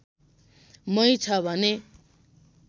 मै छ भने